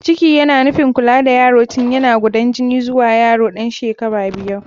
Ciki yana nufin kula da yaro tun yana gudan jini zuwa yaro ɗan shekara biyar.